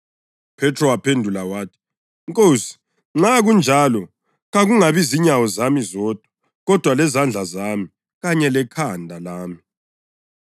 UPhethro waphendula wathi, “Nkosi, nxa kunjalo, kakungabi zinyawo zami zodwa kodwa lezandla zami kanye lekhanda lami!”